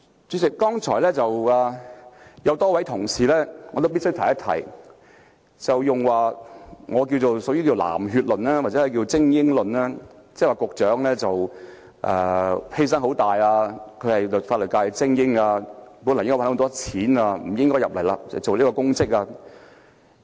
主席，我必須指出，有多位同事剛才提出我形容為"藍血論"或"精英論"，說司長作出了很大犧牲，她是法律界的精英，本來可以賺很多錢，不應該投身公職。